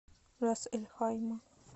рас эль хайма